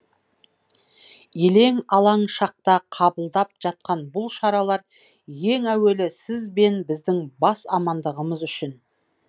елең алаң шақта қабылдап жатқан бұл шаралар ең әуелі сіз бен біздің бас амандығымыз үшін